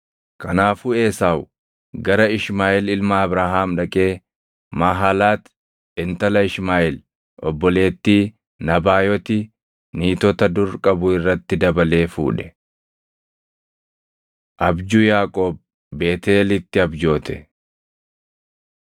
Kanaafuu Esaaw gara Ishmaaʼeel ilma Abrahaam dhaqee Maahalaati intala Ishmaaʼeel obboleettii Nabaayoti niitota dur qabu irratti dabalee fuudhe. Abjuu Yaaqoob Beetʼeelitti Abjoote